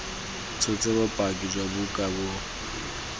tshotse bopaki jwa buka bo